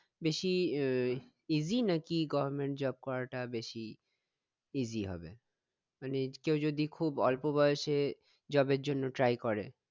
বেশি ah easy নাকি goverment job করাটা বেশি easy হবে মানে কেউ যদি খুব অল্প বয়সে job এর জন্য try করে